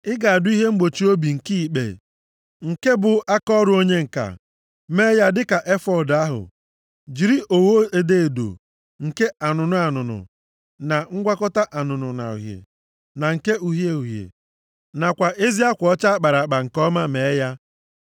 “Ị ga-adụ ihe mgbochi obi nke ikpe, nke bụ ọrụ aka onye ǹka. Mee ya dịka efọọd ahụ: jiri ogho edo edo, nke anụnụ anụnụ, na ngwakọta anụnụ na uhie, na nke uhie uhie nakwa ezi akwa ọcha a kpara nke ọma mee ya.